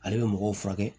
Ale bɛ mɔgɔw furakɛ